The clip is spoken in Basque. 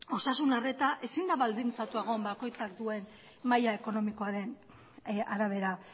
osasun arreta ezin da baldintzatua egon bakoitzak duen maila ekonomikoaren arabera